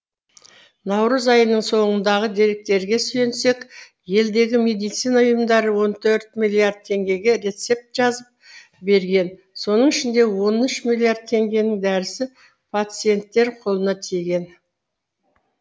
наурыз айының соңындағы деректерге сүйенсек елдегі медицина ұйымдары он төрт миллиард теңгеге рецепт жазып берген соның ішінде он үш миллиард теңгенің дәрісі пациенттер қолына тиген